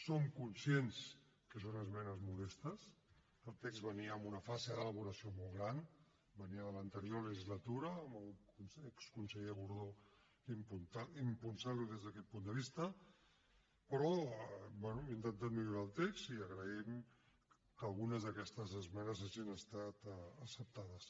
som conscients que són esmenes modestes el text venia amb una fase d’elaboració molt gran venia de l’anterior legislatura amb l’exconseller gordó impulsant lo des d’aquest punt de vista però bé hem intentat millorar el text i agraïm que algunes d’aquestes esmenes hagin estat acceptades